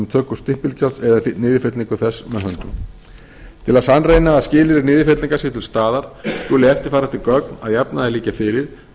töku stimpilgjalds eða niðurfellingu þess með höndum til að sannreyna að skilyrði niðurfellingar séu til staðar skulu eftirfarandi gögn að jafnaði liggja fyrir en